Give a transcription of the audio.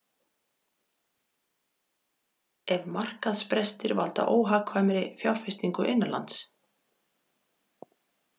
Ef markaðsbrestir valda óhagkvæmri fjárfestingu innanlands.